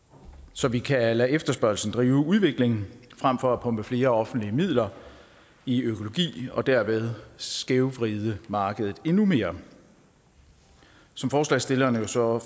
så vi kan lade efterspørgslen drive udviklingen frem for at pumpe flere offentlige midler i økologi og derved skævvride markedet endnu mere som forslagsstillerne jo så